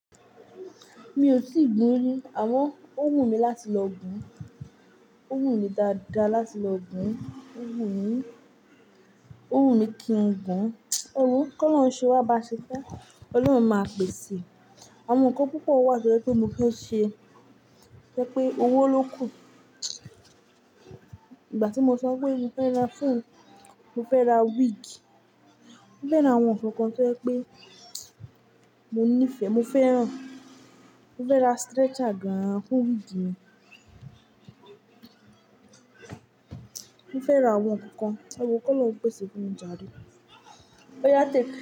Mi ò tí gun rí àmọ́ ó wù mí láti lọ gun. Ó wù mí dáadáa láti lọ gun. Ó wù mí, ó wù mí kí ń gun. Éwo kó lọ́run ṣé wá bà ṣe fé. Ọlọ́run máa pèsè. Àwọn nǹkan púpọ̀ wà tò ẹ pé mo fẹ́ ṣe, tépè owó ló kù. Ìgbà tí mo sọ pé mo fẹ́ ra phone, mo fẹ́ ra wig. Mo fẹ́ ra àwọn nǹkankan tò ẹ pé mo nífẹ̀ẹ́, mo fẹ́ràn. Mo fẹ́ ra stretcher gan-an fún wig mi. Mo fẹ́ ra àwọn nǹkan. Ẹ wò ó kó lọ́run pèsè fún mi járe. Ó yátẹ̀